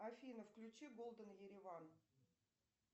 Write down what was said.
афина включи голден ереван